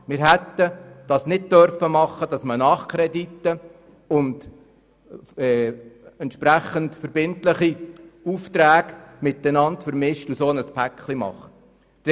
Wir hätten den Nachkredit und die entsprechenden verbindlichen Aufträge nicht miteinander vermischen und ein Paket daraus machen dürfen.